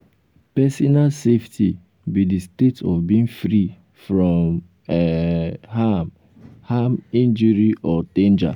personal safety be di state of being free from um harm um harm injury or um danger. um